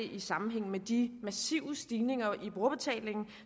i sammenhæng med de massive stigninger i brugerbetalingen